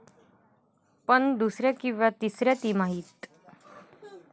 पण दुसऱ्या किंवा तिसऱ्या तिमाहीत?